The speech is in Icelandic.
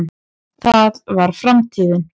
það var framtíðin.